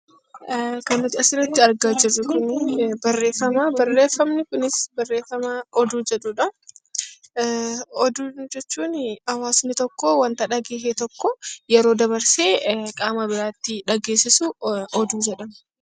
Kan nuti asirratti argaa jirru kun barreeffama. Barreeffamni Kunis barreeffama oduu jedhudha. Oduu jechuun hawaasni tokko wanta dhagahe tokko yeroo qaama biraatti dhaggeessisu oduu jedhama.